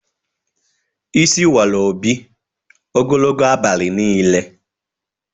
Isi wara Obi ogologo abalị niile.